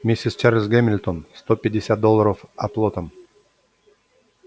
миссис чарлз гамильтон сто пятьдесят долларов оплотом